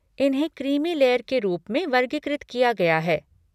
इन्हें creamy layer के रूप में वर्गीकृत किया गया है।